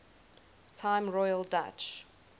time royal dutch